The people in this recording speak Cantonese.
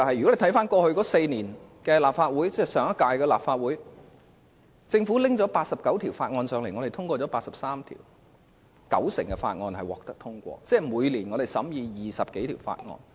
一如我過去所說，在上屆立法會的4年任期內，政府向本會提交了89項法案，本會通過了83項；換言之，九成法案獲得通過，每年審議20多項法案。